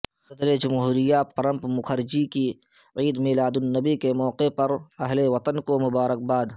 صدر جمہوریہ پرنب مکھرجی کی عید میلاد النبی کے موقع پر اہل وطن کو مبارکباد